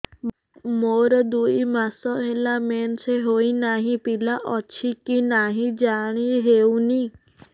ମୋର ଦୁଇ ମାସ ହେଲା ମେନ୍ସେସ ହୋଇ ନାହିଁ ପିଲା ଅଛି କି ନାହିଁ ଜାଣି ହେଉନି